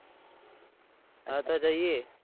હા તો જયીયે